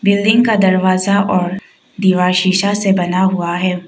Building का दरवाजा और दीवार सीसा से बना हुआ है।